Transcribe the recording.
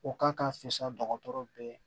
O ka ka fɛsɛ dɔgɔtɔrɔ bɛɛ